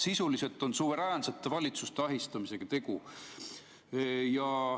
Sisuliselt on tegu suveräänsete valitsuste ahistamisega.